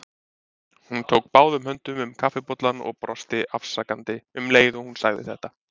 Hún tók báðum höndum um kaffibollann og brosti afsakandi um leið og hún sagði þetta.